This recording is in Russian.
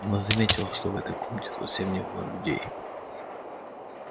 она заметила что в этой комнате совсем не было людей